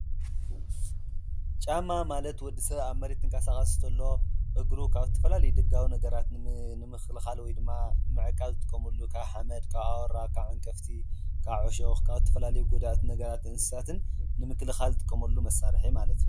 ጫማ ማለት ወዲ ሰብ ኣብ መሬት ክንቅስቓስ እንተሎ እግሩ ኻብ ተፈላለዩ ደጋዊ ነገራት ንምክልኻል ወይ ድማ ንምዕቃብ ዝጥቆመሉ ካብ ሓመድ ካብ ኣወራ ካብ ዓንቀፍቲ ካብ ዕሾኽ ካብ ተፈላለዩ ጐዳእቲ ነገራት እንስሳትን ንምክልኻል ዝጥቀመሉ መሳርሒ ማለት እዩ፡፡